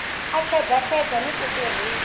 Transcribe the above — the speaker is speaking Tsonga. a khedzakheza ni ku tirhisa